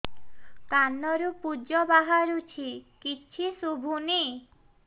କାନରୁ ପୂଜ ବାହାରୁଛି କିଛି ଶୁଭୁନି